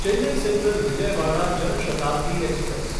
Chennai central Vijayawada Jan Shatabdi express